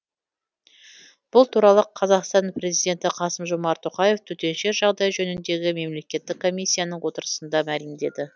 бұл туралы қазақстан президенті қасым жомарт тоқаев төтенше жағдай жөніндегі мемлекеттік комиссияның отырысында мәлімдеді